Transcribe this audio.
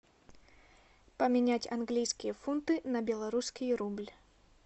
поменять английские фунты на белорусский рубль